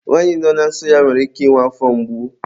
nwanyị nọ na nsọ ya nwere ike ịnwe afọ mgbu.